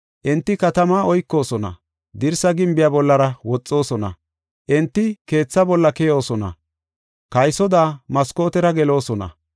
Enti katamaa oykoosona; dirsa gimbiya bollara woxoosona. Enti keetha bolla keyoosona; kaysoda maskootera geloosona.